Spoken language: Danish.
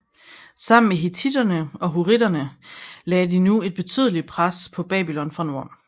Sammen med hittittere og hurrittere lagde de nu et betydelig pres på Babylon fra nord